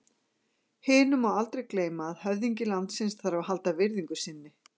Hinu má aldrei gleyma að höfðingi landsins þarf að halda virðingu sinni.